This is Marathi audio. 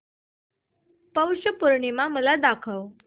पौष पौर्णिमा मला दाखव